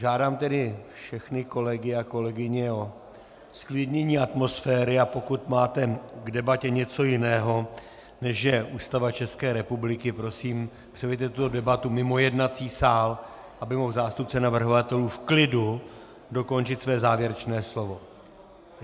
Žádám tedy všechny kolegy a kolegyně o zklidnění atmosféry, a pokud máte k debatě něco jiného, než je Ústava České republiky, prosím, přeneste tuto debatu mimo jednací sál, aby mohl zástupce navrhovatelů v klidu dokončit své závěrečné slovo.